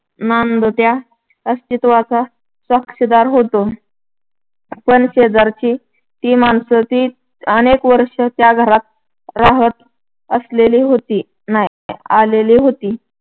नांदत्या अस्तित्वाचा साक्षीदार होतो. पण शेजारची ती माणसं ती अनेक वर्षं त्या घरात राहत आसलेली आलेली होती